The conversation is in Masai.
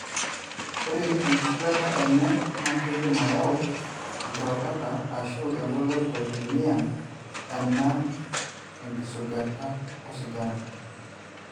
ore enkisugata enye na kidim ayau enkirokota ashu engoloto teniyang ena engisugata osigara,